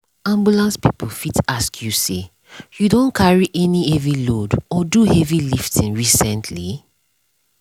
ambulance people fit ask you say “you don carry any heavy load or do heavy lifting recently?”